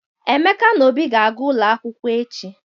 Emeka na Obi ga-aga ụlọ akwụkwọ echi.